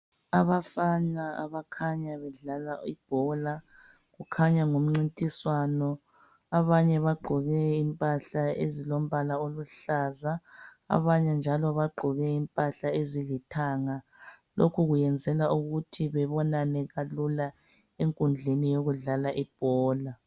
Abafana abakhanya bedlala ibhola kukhanya ngumcintiswano ,abanye bagqoke impahla ezilombala oluhlaza abanye njalo bagqoke impahla ezilithanga lokhu kwenzela ukuthi bebonane kalula enkundleni yokudlala ibhola.